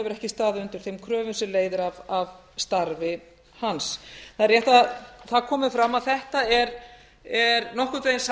ekki staðið undir þeim kröfum sem leiðir af starfi hans það er rétt að það komi fram að þetta er nokkurn veginn